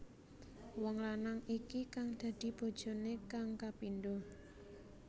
Wong lanang iki kang dadi bojoné kang kapindho